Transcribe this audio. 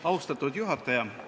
Austatud juhataja!